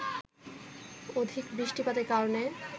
অধিক বৃষ্টিপাতের কারণে